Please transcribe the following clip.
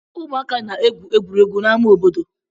Ụmụaka na-egwu egwuregwu n'amá obodo.